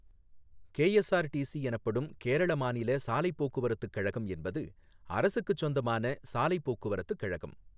KSRTC எனப்படும் கேரள மாநில சாலைப் போக்குவரத்துக் கழகம் என்பது அரசுக்குச் சொந்தமான சாலைப் போக்குவரத்துக் கழகம்.